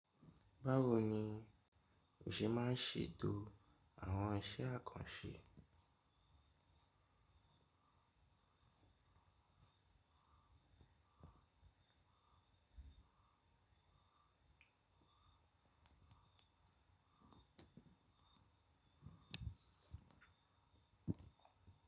Báwo ni o ṣe máa ń ṣètò àwọn iṣẹ́ àkànṣe?